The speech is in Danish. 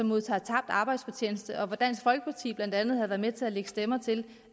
modtager tabt arbejdsfortjeneste og dansk folkeparti har blandt andet været med til at lægge stemmer til